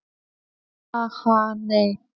Ha, ha, nei.